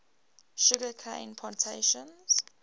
sugar cane plantations